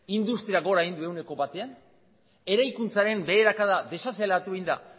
industriak gora egin du ehuneko batean eraikuntzaren beherakada desazeleratu egin da